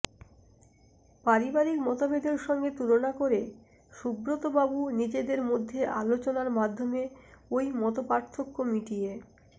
পারিবারিক মতভেদের সঙ্গে তুলনা করে সুব্রতবাবু নিজেদের মধ্যে আলোচনার মাধ্যমে ওই মতপার্থক্য মিটিয়ে